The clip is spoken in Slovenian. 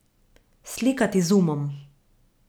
Slikati z umom.